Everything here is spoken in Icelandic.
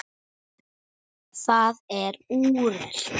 Það er úrelt.